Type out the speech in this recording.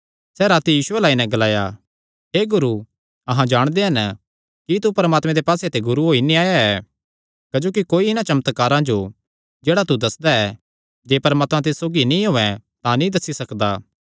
सैह़ राती यीशु अल्ल आई नैं ग्लाया हे गुरू अहां जाणदे हन कि तू परमात्मे दे पास्से ते गुरू होई नैं आया ऐ क्जोकि कोई इन्हां चमत्कारां जो जेह्ड़ा तू दस्सदा ऐ जे परमात्मा तिस सौगी नीं होये तां नीं दस्सी सकदा